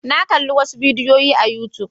Na kalli wasu bidiyoyi a youtube.